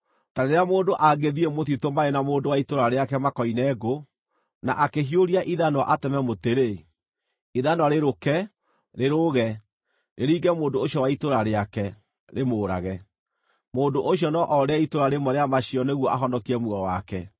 Ta rĩrĩa mũndũ angĩthiĩ mũtitũ marĩ na mũndũ wa itũũra rĩake makoine ngũ, na akĩhiũria ithanwa ateme mũtĩ-rĩ, ithanwa rĩrũke, rĩrũũge, rĩringe mũndũ ũcio wa itũũra rĩake, rĩmũũrage. Mũndũ ũcio no orĩre itũũra rĩmwe rĩa macio nĩguo ahonokie muoyo wake.